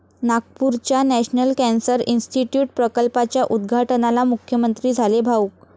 नागपूरच्या national cancer institute प्रकल्पाच्या उद्घाटनाला मुख्यमंत्री झाले भावुक